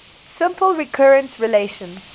simple recurrence relation